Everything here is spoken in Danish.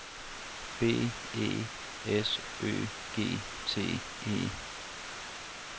B E S Ø G T E